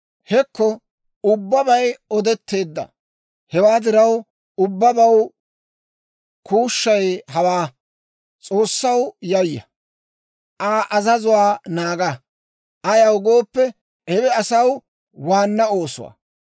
Hekko ubbabay odetteedda; hewaa diraw, ubbabaw kuushshay hawaa: S'oossaw yayya; Aa azazuwaa naaga. Ayaw gooppe, hewe asaw waanna oosuwaa.